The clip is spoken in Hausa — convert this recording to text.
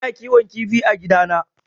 Ina kiwon kifi a gidana